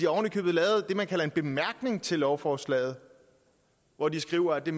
oven i købet lavet det man kalder en bemærkning til lovforslaget hvor de skriver at det